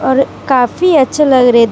काफी अच्छे लग रहे दे--